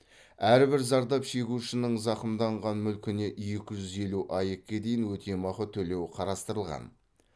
әрбір зардап шегушінің зақымданған мүлкіне екі жүз елу аек ке дейін өтемақы төлеу қарастырылған